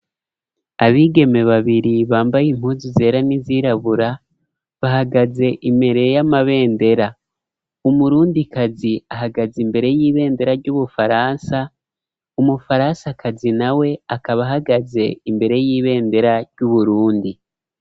Abigeme babiri bambaye impunzu zera n'izirabura bahagaze imbere y'amabendera umurundi kazi ahagaze imbere y'ibendera ry'ubufaransa, umufaransakazi na we akaba ahagaze imbere y'ibendera ry'uburundi.